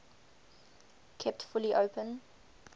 kept fully open